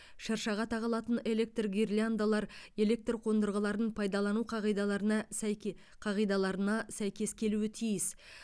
шыршаға тағылатын электр гирляндалар электр қондырғыларын пайдалану қағидаларына сәйке қағидаларына сәйкес келуі тиіс